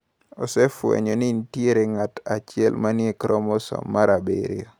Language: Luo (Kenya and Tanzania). Osefwenyo ni nitie ng’at achiel ma ni e kromosom mar 7.